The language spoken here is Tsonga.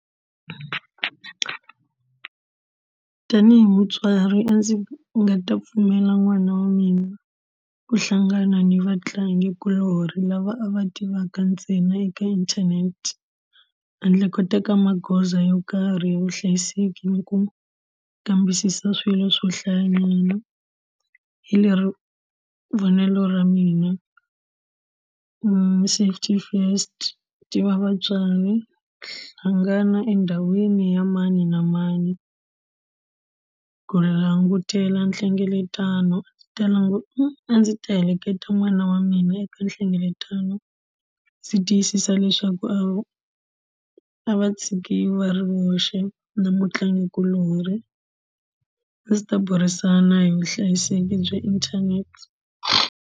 Tanihi mutswari a ndzi nga ta pfumela n'wana wa mina ku hlangana ni vatlangikuloni lava a va tivaka ntsena eka inthanete handle ko teka magoza yo karhi ya vuhlayiseki ni ku kambisisa swilo swo hlayanyana hi lero vonelo ra mina safety first tiva vatswari hlangana endhawini ya mani na mani ku langutela nhlengeletano a ndzi ta a ndzi ta heleketa n'wana wa mina eka nhlengeletano ndzi tiyisisa leswaku a a va tshikiwi va ri voxe na mutlangikulori a ndzi ta burisana hi vuhlayiseki bya internet.